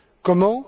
Comment?